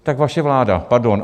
Tak vaše vláda, pardon.